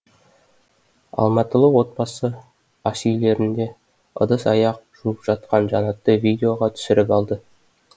алматылық отбасы ас үйлерінде ыдыс аяқ жуып жатқан жанатты видеоға түсіріп алды